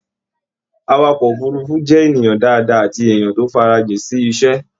Àwàkọ̀ òfurùnfu jẹ ènìyàn dáadáa àti èèyàn tó farajin sí iṣẹ.